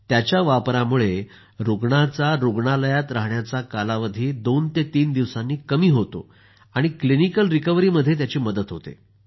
त्याच्या वापरामुळे रूग्णाचा रूग्णालयात राहण्याचा कालावधी दोन ते तीन दिवसांनी कमी होतो आणि क्लिनिकल रिकव्हरीमध्ये त्याची मदत होते